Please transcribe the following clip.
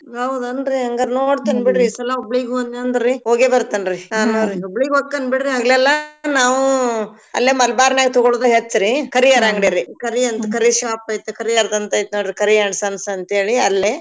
ಹೌದನ್ರಿ ಹಂಗಾರ್ ನೋಡ್ತೇನ್ ಬಿಡ್ರಿ ಈ ಸಲ ಹುಬ್ಳಿಗ್ ಹೋದ್ನ್ಯಂದ್ರರಿ ಹೋಗೇಬರ್ತೇನ್ರಿ ಹುಬ್ಳಿಗ್ ಹೊಕ್ಕನ್ ಬಿಡ್ರಿ ಹಗ್ಲೆಲ್ಲಾ ನಾವೂ ಅಲ್ಲೇ ಮಲಬಾರ್ನಾ ಗ್ ತೊಗೋಳೋದು ಹೆಚ್ರಿ ಕರೀಯರ್ ಅಂಗ್ಡೀರಿ ಕರೀ ಅಂತ್ ಕರೀ shop ಐತ್ ಕರೀಯರ್ದ್ ಅಂತ್ ಐತ್ನೋಡ್ರಿ ಕರೀ and sons ಅಂತೇಳಿ ಅಲ್ಲೆ.